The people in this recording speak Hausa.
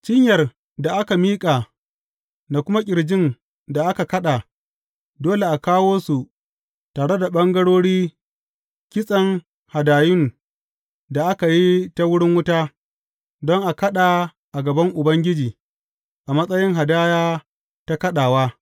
Cinyar da aka miƙa da kuma ƙirjin da aka kaɗa, dole a kawo su tare da ɓangarori kitsen hadayun da aka yi ta wuri wuta, don a kaɗa a gaban Ubangiji a matsayin hadaya ta kaɗawa.